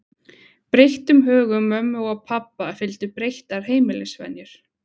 Breyttum högum mömmu og pabba fylgdu breyttar heimilisvenjur.